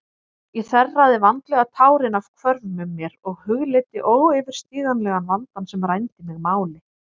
Ég þerraði vandlega tárin af hvörmum mér og hugleiddi óyfirstíganlegan vandann sem rændi mig máli.